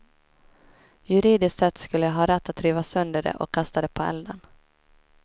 Juridiskt sett skulle jag ha rätt att riva sönder det och kasta det på elden.